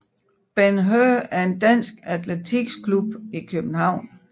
Ben Hur er en dansk atletiksklub i København